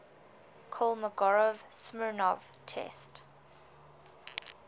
kolmogorov smirnov test